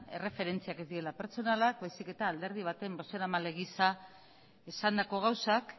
errefentziak ez direla pertsonalak baizik eta alderdi baten bozeramale gisa esandako gauzak